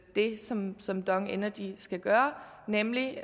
det som som dong energy skal gøre nemlig